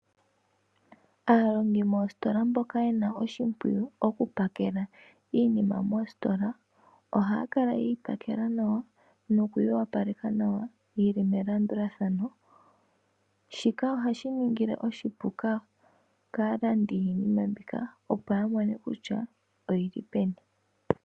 Aalongi moositola mboka yena oshimpwiyu oku pakela iinima moositola ohaya kala yeyi pakela nawa nokuyi opaleka yili melandulathano. Shika ohashi ningi oshipu kaalandi yiinima mbika opo ya mone kutya oyili peni.